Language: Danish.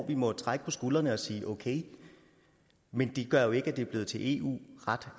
vi må trække på skuldrene af og sige okay men det gør jo ikke at det er blevet til eu ret